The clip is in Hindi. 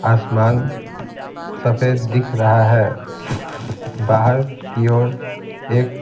आसमान सफेद दिख रहा है बाहर की ओर एक--